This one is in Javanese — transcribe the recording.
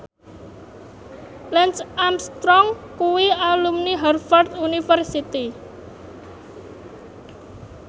Lance Armstrong kuwi alumni Harvard university